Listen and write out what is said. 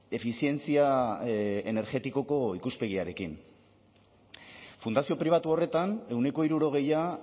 efizientzia energetikoko ikuspegiarekin fundazio pribatu horretan ehuneko hirurogeia